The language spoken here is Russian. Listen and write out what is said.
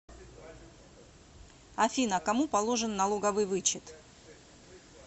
афина кому положен налоговый вычет